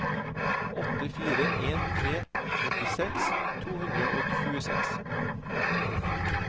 åtte fire en tre åttiseks to hundre og tjueseks